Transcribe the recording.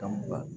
Ka mugan